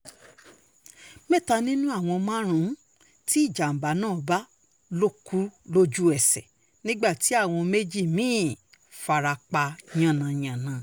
mẹ́ta nínú àwọn márùn-ún tí ìjàm̀bá náà bá lọ kú lójú-ẹsẹ̀ nígbà tí àwọn méjì mí-ín fara pa yánnayànna